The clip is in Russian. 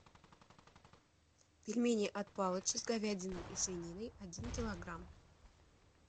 пельмени от палыча с говядиной и свининой один килограмм